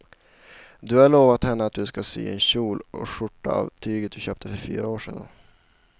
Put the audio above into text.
Du har lovat henne att du ska sy en kjol och skjorta av tyget du köpte för fyra år sedan.